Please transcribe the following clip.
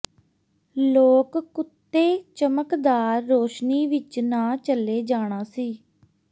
ਲੋਕ ਕੁੱਤੇ ਚਮਕਦਾਰ ਰੋਸ਼ਨੀ ਵਿਚ ਨਾ ਚਲੇ ਜਾਣਾ ਸੀ